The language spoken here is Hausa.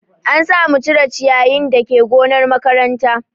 An sa mu cire ciyayin dake gonar makaranta